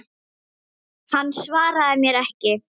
Hann svaraði mér ekki.